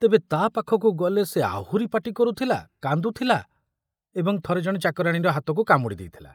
ତେବେ ତା ପାଖକୁ ଗଲେ ସେ ଆହୁରି ପାଟି କରୁଥୁଲା, କାନ୍ଦୁଥିଲା ଏବଂ ଥରେ ଜଣେ ଚାକରାଣୀର ହାତକୁ କାମୁଡ଼ି ଦେଇଥିଲା।